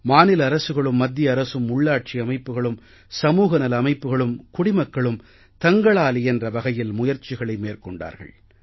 மாநில அரசுகளும் மத்திய அரசும் உள்ளாட்சி அமைப்புக்களும் சமூகநல அமைப்புக்களும் குடிமக்களும் தங்களாலியன்ற வகையில் முயற்சிகளை மேற்கொண்டார்கள்